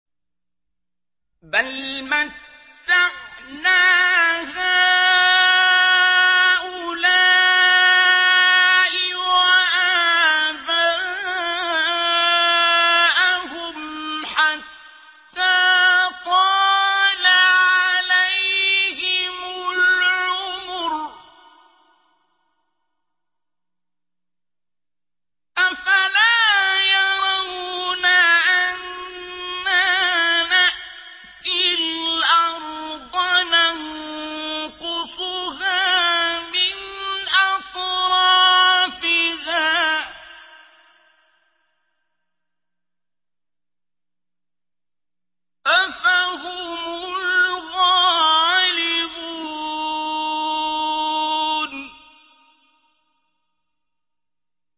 بَلْ مَتَّعْنَا هَٰؤُلَاءِ وَآبَاءَهُمْ حَتَّىٰ طَالَ عَلَيْهِمُ الْعُمُرُ ۗ أَفَلَا يَرَوْنَ أَنَّا نَأْتِي الْأَرْضَ نَنقُصُهَا مِنْ أَطْرَافِهَا ۚ أَفَهُمُ الْغَالِبُونَ